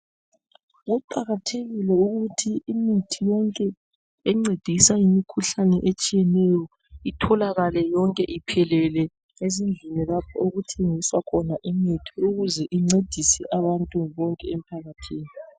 Kuqakathekile ukuthi imithi yonke encedisa imikhuhlane etshiyeneyo itholakale yonke iphelele ezindlini lapho okuthengiswa khona imithi ukuze incedise abantu bonke emphakathini.